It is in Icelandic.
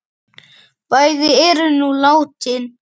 Bæði eru nú látin.